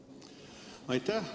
Aitäh, hea eesistuja!